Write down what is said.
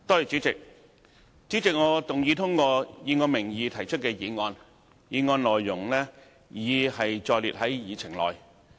主席，我動議通過以我名義提出的議案，議案內容已載列於議程內。